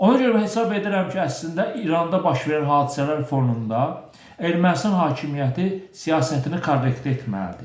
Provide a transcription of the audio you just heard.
Ona görə hesab edirəm ki, əslində İranda baş verən hadisələr fonunda Ermənistan hakimiyyəti siyasətini korrektə etməlidir.